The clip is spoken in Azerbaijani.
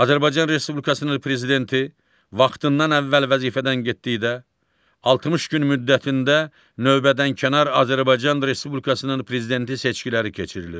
Azərbaycan Respublikasının prezidenti vaxtından əvvəl vəzifədən getdikdə 60 gün müddətində növbədənkənar Azərbaycan Respublikasının prezidenti seçkiləri keçirilir.